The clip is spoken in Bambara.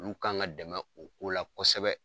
Olu kan ga dɛmɛ o ko la kosɛbɛ